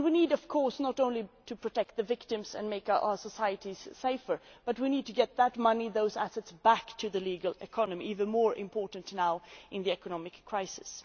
We need, of course, not only to protect the victims and make our societies safer, but also to get that money and those assets back into the legal economy, and this is even more important now, in the economic crisis.